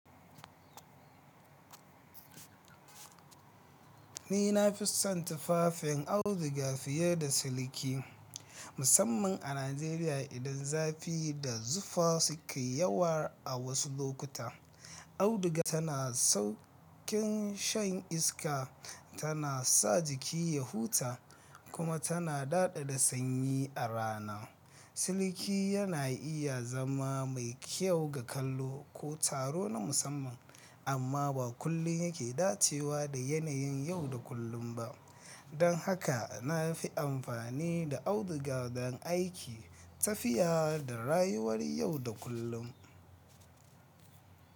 Ni na fi son tufafin auduga fiye da siliki musamman a Najeriya idan zafi da zufa sukai yawa a wasu lokuta. Auduga tana sauƙin shan iska, tana sa jiki ya huta kuma tana daɗaɗa sanyi a rana. Silki yana iya zama mai kyau ga kallo ko taro na musamman, amma ba kullum yake dacewa da yanayin yau da kullun ba, don haka na fi amfani da auduga don aiki, tafiya da rayuwar yau da kullun.